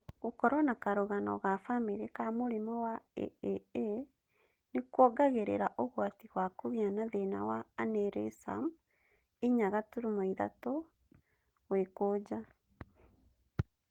Gũkorwo na karũgano ga bamĩrĩ ka mũrimũ wa AAA nĩkuongagĩrĩra ũgwati wa kũgĩa na thĩna wa aneurysm 4.3 fold.